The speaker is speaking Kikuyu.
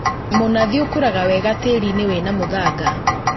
Mũnathi ũkũraga wega tĩri-inĩ wĩna mũthanga